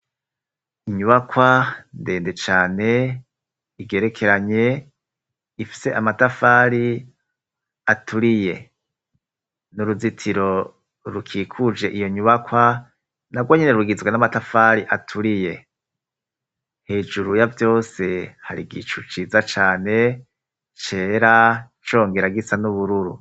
Inyubakwa ndende cane igerekeranye ifise amatafari aturiye, n'uruzitiro rukikuje iyo nyubakwa na rwo nyene rugizwe n'amatafari aturiye, hejuru ya vyose hari igicu ciza cane cera congera gisa n'ubururu.